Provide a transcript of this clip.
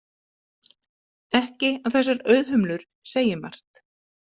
Ekki að þessar auðhumlur segi margt.